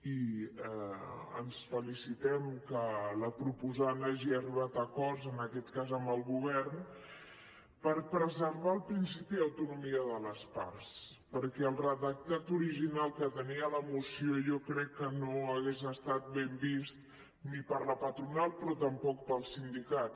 i ens felicitem que la proposant hagi arribat a acords en aquest cas amb el govern per preservar el principi d’autonomia de les parts perquè el redactat original que tenia la moció jo crec que no hauria estat ben vist ni per la patronal ni tampoc pels sindicats